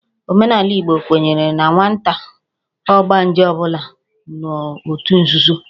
Omenala Igbo kwenyere na nwata ọgbanje ọ bụla nọ n'òtù nzuzo